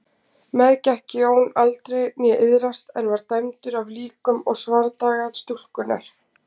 Meðgekk Jón aldrei né iðraðist en var dæmdur af líkum og svardaga stúlkunnar.